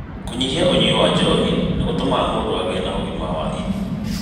kũnyihia ũnyui wa njohi nĩ gũtũmaga mũndũ agĩe na ũgima wa ini